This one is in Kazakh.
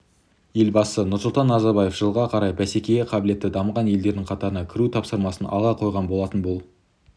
елбасы нұрсұлтан назарбаев жылға қарай бәсекеге қабілетті дамыған елдің қатарына кіру тапсырмасын алға қойған болатын бұл